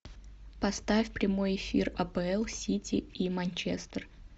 поставь прямой эфир апл сити и манчестер